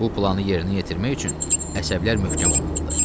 Bu planı yerinə yetirmək üçün əsəblər möhkəm olmalıdır.